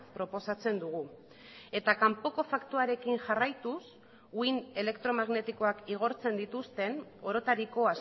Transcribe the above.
proposatzen dugu eta kanpoko faktoarekin jarraituz uhin elektromagnetikoak igortzen dituzten orotariko